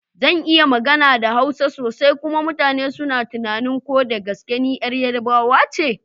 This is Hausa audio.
Zan iya magana da Hausa sosai kuma mutane suna tunanin ko da gaske ni yar Yarbawa ce?